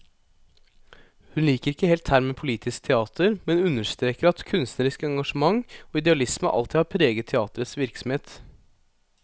Hun liker ikke helt termen politisk teater, men understreker at kunstnerisk engasjement og idealisme alltid har preget teaterets virksomhet.